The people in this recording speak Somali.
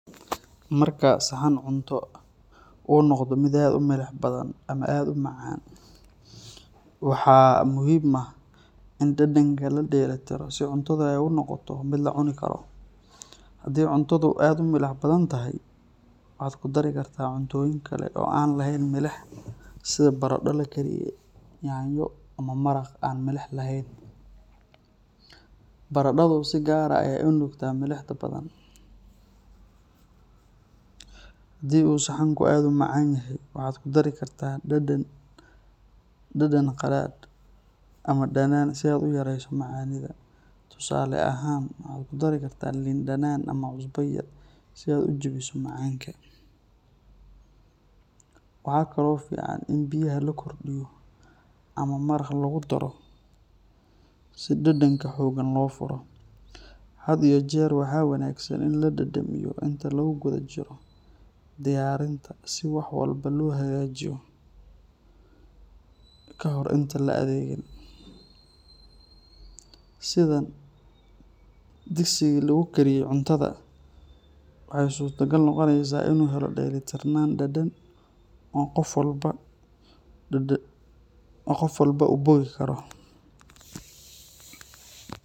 Marka saxaan cuntoh oo noqdih mid aad u meelix bathan, amah aad u macan waxa muhim aah cunatha ladentiroh sitha cuntha noqotoh mid lacuni karoh handi cunatha aad u meelix bathantahay aa kudari kartah cuntoyinkali oo anlaheet meelix sitha barada lakariye nyanyo amah maraqa laheen , barada tha si kaar aa ya u nugtah meelix farabathan handi saxan oo aad u macanyahoo A kudari kartah dadan qalala amah danan setha u yaresoh macanietha tusale ahaan duurka lin danan setha u jabisoh macanga, waxkali fican in biyahay la kordiyoh amah maraqa lagu daroh si dadenga fican lo furoh hada iyo waxa wanagsan ini inte lagu kutha jiroh deyainta si waxwalbo lo hagajiyoh kahor inti la adegen sethan degsika lagukariye cunatha waxa surtagal noqoneysah delitirnana dadn qoof walba amah qoof walbo u bothi karoh.